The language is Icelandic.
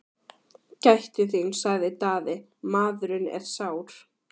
Gættu þín, sagði Daði,-maðurinn er sár!